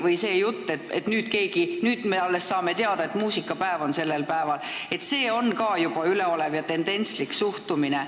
Või see jutt, et alles nüüd me saame teada muusikapäevast sellel päeval, on ka juba üleolev ja tendentslik suhtumine.